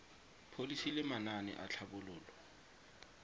pholisi le manane a tlhabololo